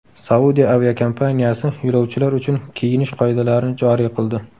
Saudiya aviakompaniyasi yo‘lovchilar uchun kiyinish qoidalarini joriy qildi.